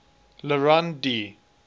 le rond d